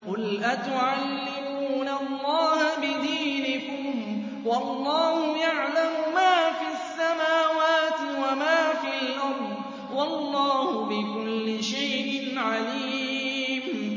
قُلْ أَتُعَلِّمُونَ اللَّهَ بِدِينِكُمْ وَاللَّهُ يَعْلَمُ مَا فِي السَّمَاوَاتِ وَمَا فِي الْأَرْضِ ۚ وَاللَّهُ بِكُلِّ شَيْءٍ عَلِيمٌ